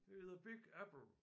Det er the big apple